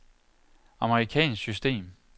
amerikansk system